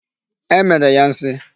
E mere ya nsi.